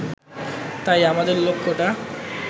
তাই আমাদের লক্ষ্যটা